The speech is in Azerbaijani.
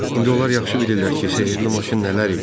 İndi onlar yaxşı bilirlər ki, sehirli maşın nələr eləyə bilər.